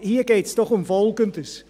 Hier geht es doch um Folgendes: